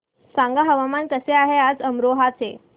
सांगा हवामान कसे आहे आज अमरोहा चे